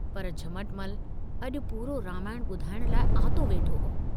पर झमटमल अजु पूरो रामायणु बुधाइण लाइ आतो वेठो हो।